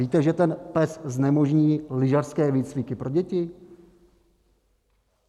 Víte, že ten PES znemožní lyžařské výcviky pro děti?